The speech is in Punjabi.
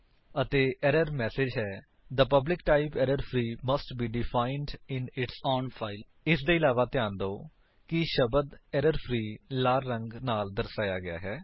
ਅਤੇ ਏਰਰ ਮੈਸੇਜ ਹੈ the public type error free must be defined in its own file ਇਸਦੇ ਇਲਾਵਾ ਧਿਆਨ ਦਿਓ ਕਿ ਸ਼ਬਦ ਏਰਰਫ੍ਰੀ ਲਾਲ ਰੰਗ ਨਾਲ ਦਰਸਾਇਆ ਗਿਆ ਹੈ